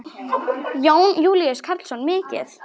Jón Júlíus Karlsson: Mikið?